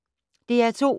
DR2